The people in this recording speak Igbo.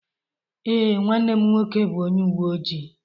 Ee, nwanne m nwoke bụ onye uwe ojii.